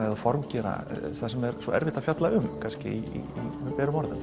eða formgera það sem er svo erfitt að fjalla um með berum orðum